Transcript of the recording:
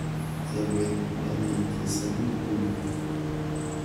Chebet ne nii chesani nguno